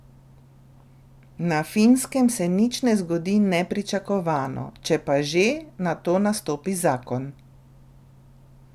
Na Finskem se nič ne zgodi nepričakovano, če pa že, nato nastopi zakon.